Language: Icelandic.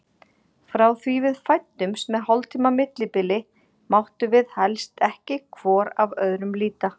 Frá því við fæddumst með hálftíma millibili máttum við helst ekki hvor af öðrum líta.